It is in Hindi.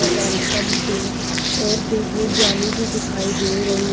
वेलकम टू और देखिए जाली भी दिखाई दे रही है।